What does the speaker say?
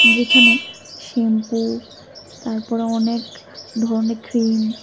যেখানে শ্যাম্পু তারপরে অনেক ধরনের ক্রিম ।